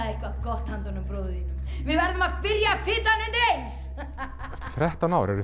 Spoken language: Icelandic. eitthvað gott handa bróður þínum við verðum að byrja að fita hann undir eins þrettán ár eruð